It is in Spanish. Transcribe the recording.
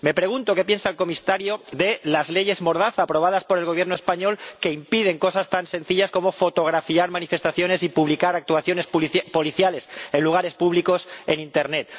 Me pregunto qué piensa el comisario de las leyes mordaza aprobadas por el Gobierno español, que impiden cosas tan sencillas como fotografiar manifestaciones y publicar actuaciones policiales en lugares públicos en Internet.